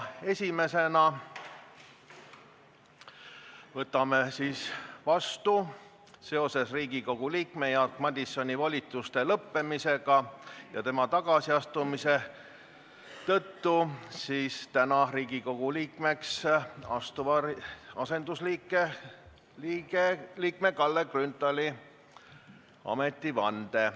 Esimesena võtame seoses Riigikogu liikme Jaak Madisoni volituste lõppemise ja tema tagasiastumisega vastu Riigikogu liikmeks asuva asendusliikme Kalle Grünthali ametivande.